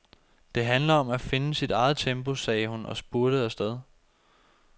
Det handler om at finde sit eget tempo, sagde hun og spurtede afsted.